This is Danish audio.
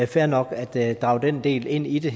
fair nok at drage den del ind i det